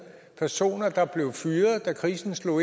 personer der blev fyret da krisen slog